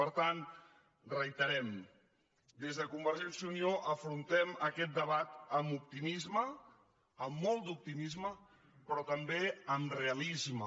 per tant ho reiterem des de convergència i unió afrontem aquest debat amb optimisme amb molt d’optimisme però també amb realisme